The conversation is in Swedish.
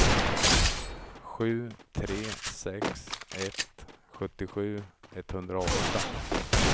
sju tre sex ett sjuttiosju etthundraåtta